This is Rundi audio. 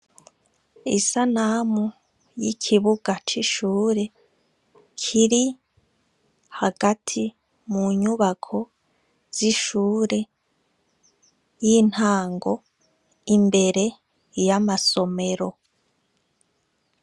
Isanamu y' ikibuga c' ishuri kiri hagati mu nyubako z' ishure y' intango imbere y' amasomero.